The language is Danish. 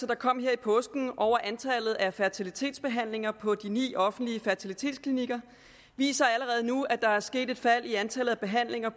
der kom her i påsken over antallet af fertilitetsbehandlinger på de ni offentlige fertilitetsklinikker viser allerede nu at der er sket et fald i antallet af behandlinger